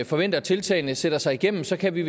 forventer at tiltagene sætter sig igennem kan vi